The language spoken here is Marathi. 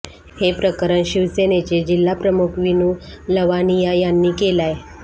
हे प्रकरण शिवसेनेचे जिल्हा प्रमुख वीनू लवानिया यांनी केलाय